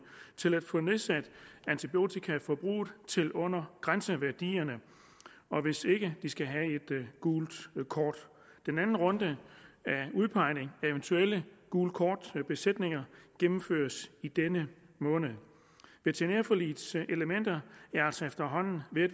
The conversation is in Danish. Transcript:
få nedsat antibiotikaforbruget til under grænseværdierne hvis ikke de skal have et gult kort den anden runde af udpegning af eventuelle gult kort besætninger gennemføres i denne måned veterinærforligets elementer er altså efterhånden ved at